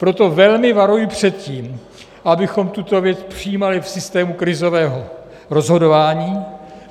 Proto velmi varuji před tím, abychom tuto věc přijímali v systému krizového rozhodování.